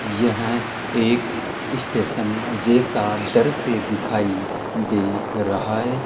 यह एक स्टेशन जैसा दर से दिखाई दे रहा है।